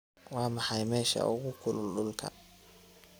waa maxay meesha ugu kulul dhulka